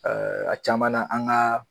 a caman na an ka